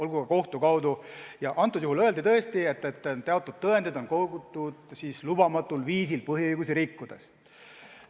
Konkreetsel juhul öeldi tõesti, et teatud tõendid on kogutud lubamatul viisil, põhiõigusi rikkudes.